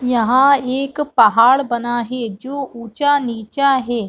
यहाँ एक पहाड़ है जो ऊँचा निचा है ।